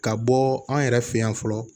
Ka bɔ an yɛrɛ fɛ yan fɔlɔ